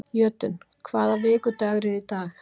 Jötunn, hvaða vikudagur er í dag?